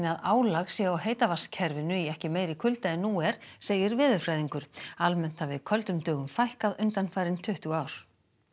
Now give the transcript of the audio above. að álag sé á heitavatnskerfinu í ekki meira kulda en nú er segir veðurfræðingur almennt hafi köldum dögum fækkað undanfarin tuttugu ár